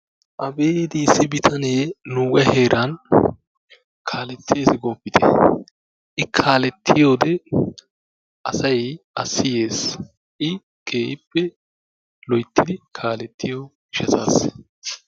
abeeti! issi bitanee nuuga heeran kaletees gooppite! I kaaletiyoode asay a siyees. I keehippe loyttidi kaaletiyo gishshatassa.